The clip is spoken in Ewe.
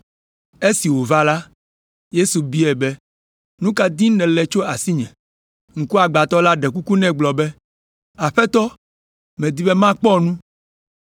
Esi wòva la, Yesu biae be, “Nu ka dim nèle tso asinye?” Ŋkuagbãtɔ la ɖe kuku nɛ gblɔ be, “Aƒetɔ medi be makpɔ nu!”